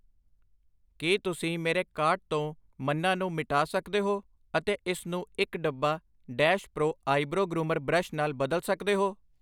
ਕੀ ਤੁਸੀਂ ਮੇਰੇ ਕਾਰਟ ਤੋਂ ਮੰਨਾ ਨੂੰ ਮਿਟਾ ਸਕਦੇ ਹੋ ਅਤੇ ਇਸਨੂੰ ਇੱਕ, ਡੱਬਾ dash pro eyebrow groomer brush ਨਾਲ ਬਦਲ ਸਕਦੇ ਹੋ